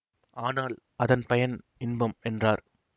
ஆனால் அதன் பயன் இன்பம் என்றார்